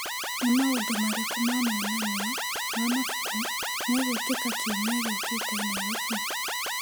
Nĩ maũndũ marĩkũ ma monanio ma mabuku me gwĩkĩka kiumia gĩũkĩte Naĩrobĩ ?